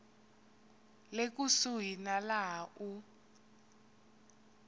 le kusuhi na laha u